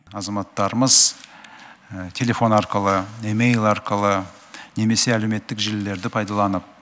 азаматтарымыз телефон арқылы емайл арқылы немесе әлеуметтік желілерді пайдаланып